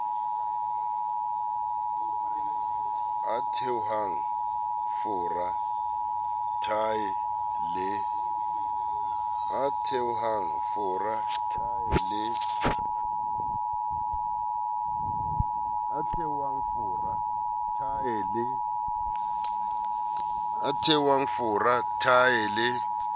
a theohang fora thae le